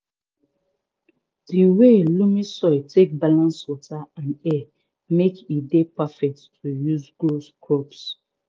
di way loamy soil take balance water and air make e dey perfect to use grow crops